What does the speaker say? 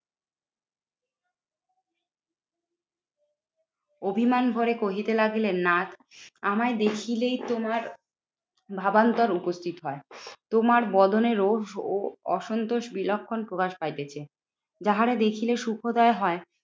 অভিমান ভরে কহিতে লাগিলেন না আমায় দেখিলেই তোমার ভাবান্তর উপস্থিত হয় তোমার বদনে রোজ ও অসন্তোষ বিলক্ষণ প্রকাশ পাইতেছে। যাহারে দেখিলে সুখদয় হয়